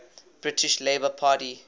british labour party